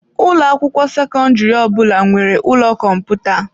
Ụlọ akwụkwọ sekọndrị ọbụla nwere ụlọ kọmputa.